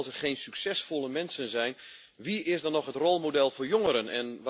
Want als er geen succesvolle mensen zijn, wie is dan nog het rolmodel voor jongeren?